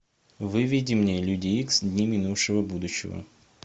выведи мне люди икс дни минувшего будущего